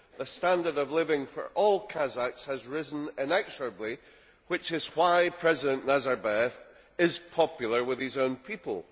The standard of living for all Kazakhs has risen inexorably, which is why President Nazarbayev is popular with his own people.